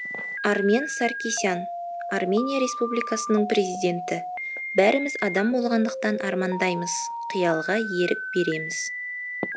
армен саркисян армения республикасының президенті бәріміз адам болғандықтан армандаймыз қиялға ерік береміз